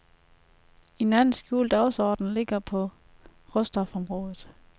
En anden skjult dagsorden ligger på råstofområdet.